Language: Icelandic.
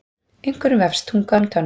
Einhverjum vefst tunga um tönn